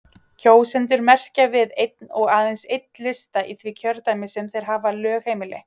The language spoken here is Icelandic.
Kjósendur merkja við einn og aðeins einn lista í því kjördæmi sem þeir hafa lögheimili.